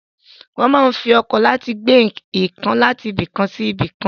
Wọ́n ń fi ọkọ̀ láti gbé nǹkan láti ibìkan sí ibìkan.